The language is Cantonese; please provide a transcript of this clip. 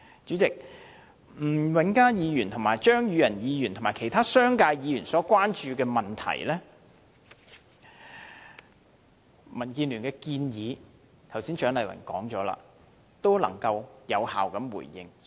主席，關於吳永嘉議員、張宇人議員及其他商界議員所關注的問題，蔣麗芸議員剛才已經有效地回應，並且表達了民建聯的建議。